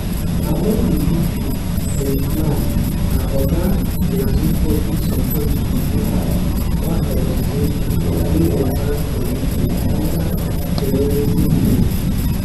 among di issues dem flag na oga malema public support for hamas one organization wey dey banned for uk under terrorism laws